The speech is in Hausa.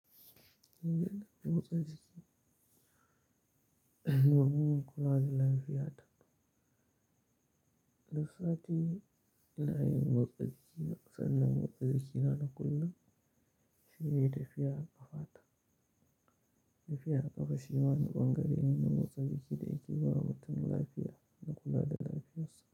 Ina yin motsa jiki domin kula da lafiyata. Duk sati ina yin motsa jiki sannan motsa jikina na kullum shine tafiya a ƙafa ta. Tafiya a ƙafa shi ma bangare ne na motsa jiki da yake ba mutum lafiya da kula da lafiyarsa.